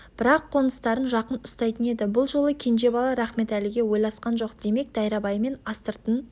бірақ қоныстарын жақын ұстайтын еді бұл жолы кенже бала рахметәліге ойласқан жоқ демек дайрабаймен астыртын